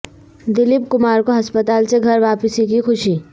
دلیپ کمار کو ہسپتال سے گھر واپسی کی خوشی